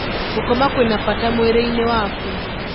Gũkoma kwĩna bata mwĩrĩ-inĩ waku.